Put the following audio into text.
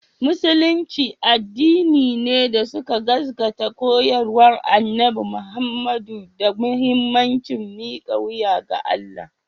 Musulunci addini ne da suka gaskata koyarwar Annabi Muhammadu da muhimmancin mika wuya ga Allah